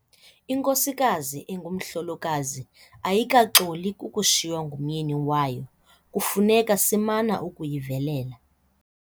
Inkosikazi engumhlolokazi ayikaxoli kukushiywa ngumyeni wayo kufuneka simana ukuyivelela.